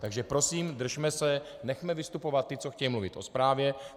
Takže prosím, držme se, nechme vystupovat ty, co chtějí mluvit o zprávě.